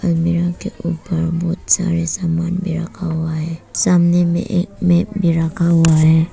Mirror के ऊपर बहुत सारे सामान भी रखा हुआ है। सामने में एक मैप भी रखा हुआ है।